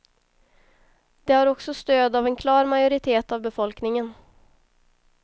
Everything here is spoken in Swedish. Det har också stöd av en klar majoritet av befolkningen.